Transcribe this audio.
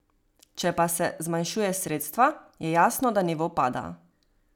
Če pa se zmanjšuje sredstva, je jasno, da nivo pada.